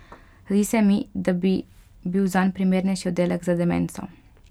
Zdi se mi, da bi bil zanj primernejši oddelek za demenco.